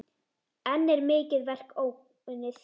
Enn er mikið verk óunnið.